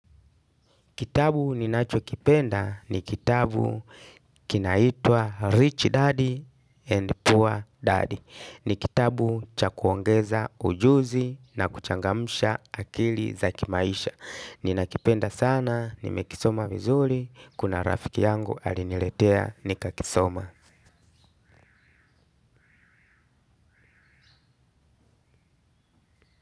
Kitabu ninachokipenda ni kitabu kinaitwa Rich Daddy and Poor Daddy. Ni kitabu cha kuongeza ujuzi na kuchangamsha akili za kimaisha. Ninakipenda sana, nimekisoma vizuri, kuna rafiki yangu aliniletea nikakisoma.